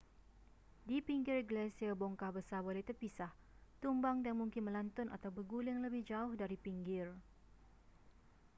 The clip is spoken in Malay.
di pinggir glasier bongkah besar boleh terpisah tumbang dan mungkin melantun atau berguling lebih jauh dari pinggir